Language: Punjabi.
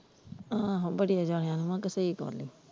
ਆਹੋ ਬੜਿਆਂ ਜਾਣਿਆ ਨੂੰ ਆ ਕੇ ਸਹੀ ਗੱਲ ਹੈ।